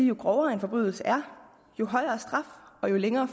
jo grovere en forbrydelse er jo højere straf og jo længere